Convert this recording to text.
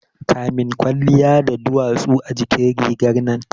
Kamin kwalliya da duwatsu a jikin rigar nan